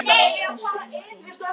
Það laug þessu enginn.